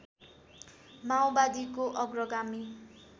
माओवादीको अग्रगामी